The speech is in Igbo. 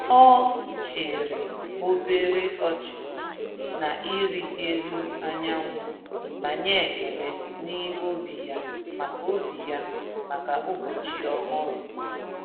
Ọ chịrị obere ọchị na ịrị elu anyanwụ ma nye ekele n’ime obi ya maka obi ya maka ụbọchị ọhụrụ.